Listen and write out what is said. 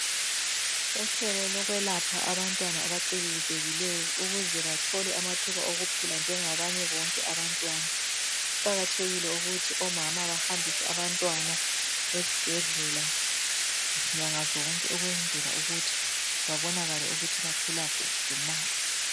Uhlelo lokwelapha abantwana abacikizekileyo ukuze bathole amathuba okuphila njengabanye bonke abantwana. Kuqakathekile ukuthi omama bahambise abantwana esibhedlela nyangazonke, ukwenzela ukuthi babonakale ukuthi bakhula kuhle na.